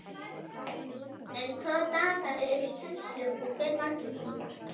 En hvaða dagar eru í kennslu og hve margir tímar?